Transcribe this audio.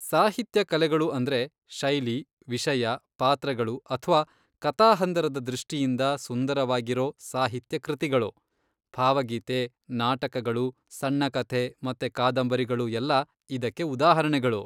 ಸಾಹಿತ್ಯ ಕಲೆಗಳು ಅಂದ್ರೆ ಶೈಲಿ, ವಿಷಯ, ಪಾತ್ರಗಳು ಅಥ್ವಾ ಕಥಾಹಂದರದ ದೃಷ್ಟಿಯಿಂದ ಸುಂದರವಾಗಿರೋ ಸಾಹಿತ್ಯ ಕೃತಿಗಳು. ಭಾವಗೀತೆ, ನಾಟಕಗಳು, ಸಣ್ಣ ಕಥೆ ಮತ್ತೆ ಕಾದಂಬರಿಗಳು ಎಲ್ಲ ಇದಕ್ಕೆ ಉದಾಹರಣೆಗಳು.